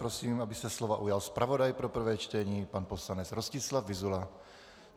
Prosím, aby se slova ujal zpravodaj pro prvé čtení pan poslanec Rostislav Vyzula.